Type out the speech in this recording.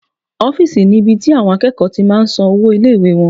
Ọ́fìsì ni ibi tí àwọn akẹ́kọ̀ọ́ ti máa n san owó ilé-ìwé wọn